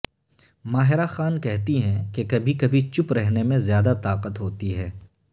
ماہرہ خان کہتی ہیں کہ کبھی کبھی چپ رہنے میں زیادہ طاقت ہوتی ہے